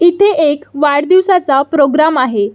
इथे एक वाढदिवसाचा प्रोग्राम आहे.